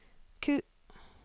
Q